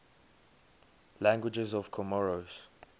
languages of comoros